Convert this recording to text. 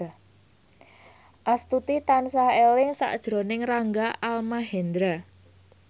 Astuti tansah eling sakjroning Rangga Almahendra